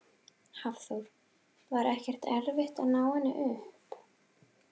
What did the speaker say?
Hafþór: Var ekkert erfitt að ná henni upp?